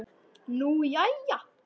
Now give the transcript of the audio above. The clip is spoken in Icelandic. Nú, jæja?